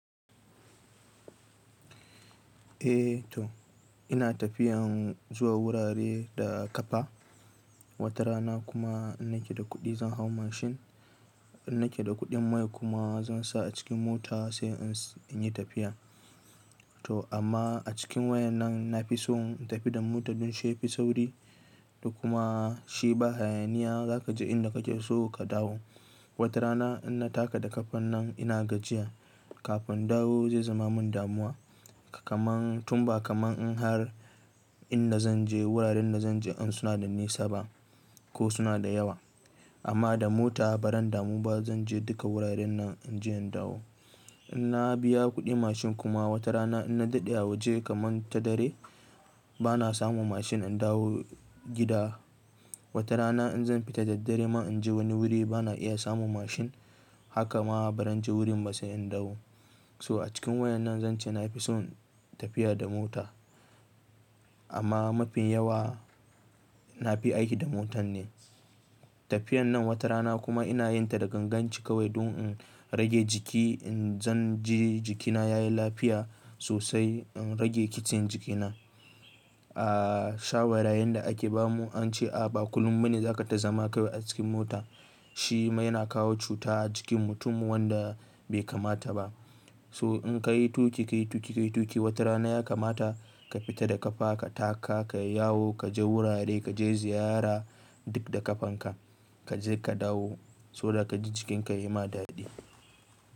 Eh to ina tafiyan zuwa wurare da ƙafa. Wata rana kuma in nake da kuɗi zan hau mashin. In nake da kuɗin mai kuma zan sa a cikin mota sai in yi tafiya. To amma a cikin wayan nan na fi son in tafi da mota don shi ya fi sauri. Da kuma shi ba hayaniya za ka ji inda kake so ka dawo. Wata rana in na taka da ƙafan nan ina gajiya. Kafin in dawo zai zama min damuwa. Kaman tun ba kaman in har inda zan je wuraren da zan je din suna da nisa ba ko suna da yawa. Amma da mota baran damu ba zan je duka wuraren nan in je in dawo. In na biya kuɗin mashin kuma wata rana in na daɗe a waje kaman ta dare ba na samun mashin in dawo gida. Wata rana in zan fita da daddare man in je wani wuri bana iya samun mashin. Haka ma ba zan je wurin ba sai in dawo. So a cikin wayannan zan ce na fi son tafiya da mota. Amma mafi yawa na fi aiki da motan ne. Tafiyan nan wata rana kuma ina yin ta da ganganci kawai don in rage jiki. In zan je jikina yayi lafiya sosai in rage kitsen jikina. A sha'awarayen da ake ba mu an ce a ba kullum bane za kai ta zama kawai a cikin mota. Shi ma yana kawo cuta a jikin mutum wanda bai kamata ba. So in ka yi tuƙi, ka yi tuƙi, ka yi tuƙi. Wata rana ya kamata ka fita da ƙafa ka taka, ka yi yawo, ka je wurare, ka je ziyara duk da ƙafanka. Ka je ka dawo. Soboda ka ji jikinka ya yi ma daɗi.